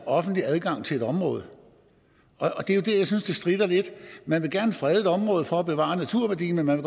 offentlig adgang til et område og det er jo der jeg synes det stritter lidt man vil gerne frede et område for at bevare naturværdien men man